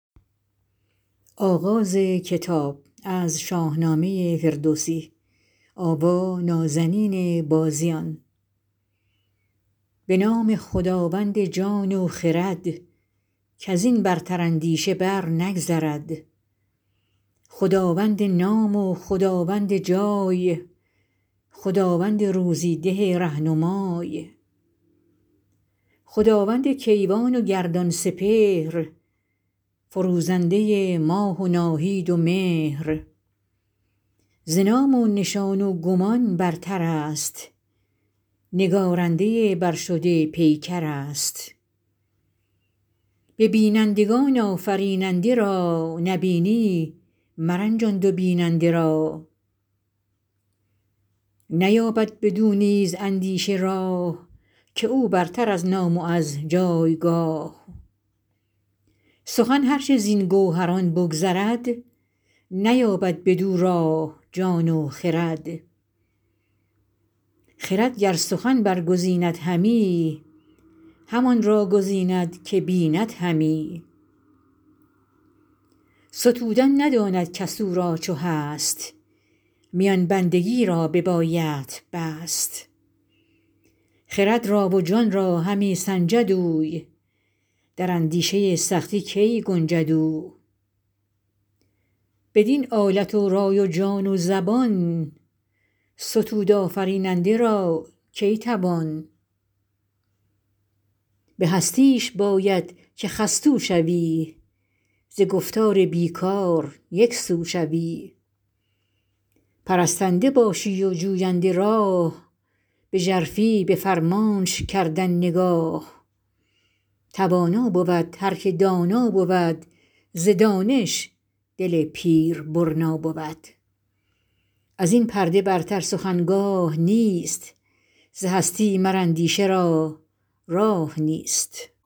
به نام خداوند جان و خرد کز این برتر اندیشه بر نگذرد خداوند نام و خداوند جای خداوند روزی ده رهنمای خداوند کیوان و گردان سپهر فروزنده ماه و ناهید و مهر ز نام و نشان و گمان برتر است نگارنده برشده پیکر است به بینندگان آفریننده را نبینی مرنجان دو بیننده را نیابد بدو نیز اندیشه راه که او برتر از نام و از جایگاه سخن هر چه زین گوهران بگذرد نیابد بدو راه جان و خرد خرد گر سخن برگزیند همی همان را گزیند که بیند همی ستودن نداند کس او را چو هست میان بندگی را ببایدت بست خرد را و جان را همی سنجد اوی در اندیشه سخته کی گنجد اوی بدین آلت رای و جان و زبان ستود آفریننده را کی توان به هستیش باید که خستو شوی ز گفتار بی کار یکسو شوی پرستنده باشی و جوینده راه به ژرفی به فرمانش کردن نگاه توانا بود هر که دانا بود ز دانش دل پیر برنا بود از این پرده برتر سخن گاه نیست ز هستی مر اندیشه را راه نیست